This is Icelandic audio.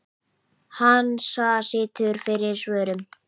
Hansa situr fyrir svörum.